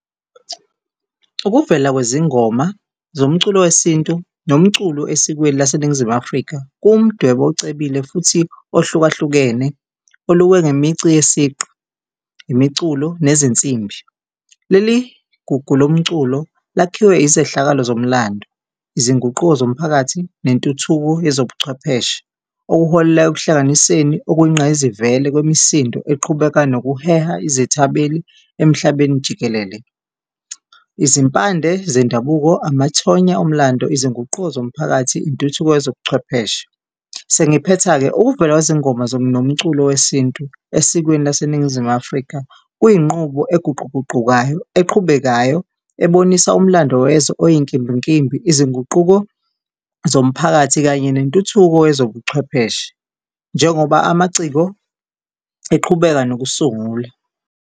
Ukuvela kwezingoma zomculo wesintu nomculo esikweni laseNingizimu Afrika kuwu mdwebo ocebile futhi ohlukahlukene, olukwe ngemici yesiqu, imiculo nezinsimbi. Leli gugu lomculo lakhiwe izehlakalo zomlando, izinguquko zomphakathi nentuthuko yezobuchwepheshe, okuholela ekuhlanganiseni okuyingqayizivele kwemisindo eqhubeka nokuheha izethameli emhlabeni jikelele, izimpande zendabuko, amathonya omlando, izinguquko zomphakathi, intuthuko yezobuchwepheshe. Sengiphetha-ke, ukuvela kwezingoma nomculo wesintu esikweni laseNingizimu Afrika kuyinqubo eguquguqukayo, eqhubekayo ebonisa umlando wezwe oyinkimbinkimbi, izinguquko zomphakathi kanye nentuthuko yezobuchwepheshe njengoba amaciko eqhubeka nokusungula.